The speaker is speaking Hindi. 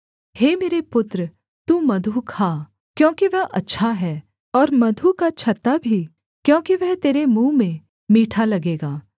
हे मेरे पुत्र तू मधु खा क्योंकि वह अच्छा है और मधु का छत्ता भी क्योंकि वह तेरे मुँह में मीठा लगेगा